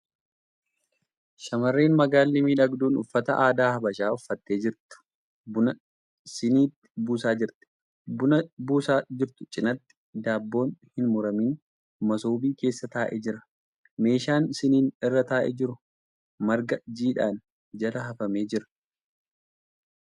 Shamarreen magaalli miidhagduun uffata aadaa habashaa uffattee jirtu buna siniitti buusaa jirti. Buna buusaa jirtu cinaatti daabboon hin muramin masoobii keessa taa'ee jira. Meeshaan siniin irra taa'ee jiru marga jiidhaan jala hafamee jira.